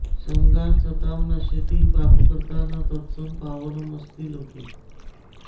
सङ्गात् सतां नश्यति पापकर्ता न तत्समं पावनमस्ति लोके